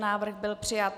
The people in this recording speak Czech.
Návrh byl přijat.